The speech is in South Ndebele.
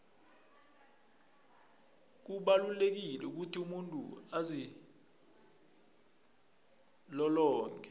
kubalulekile ukuthi umuntu azilolonge